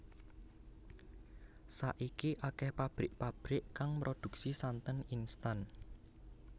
Saiki akéh pabrik pabrik kang mroduksi santen instan